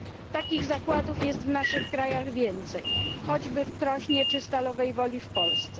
Takich zakładów jest w naszych krajach więcej, choćby w Krośnie czy w Stalowej Woli w Polsce.